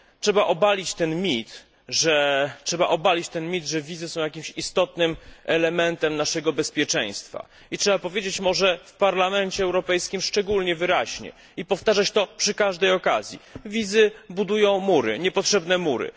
Trzeba obalić ten mit, że wizy są jakimś istotnym elementem naszego bezpieczeństwa i trzeba powiedzieć może w Parlamencie Europejskim szczególnie wyraźnie i powtarzać to przy każdej okazji wizy budują mury, niepotrzebne mury.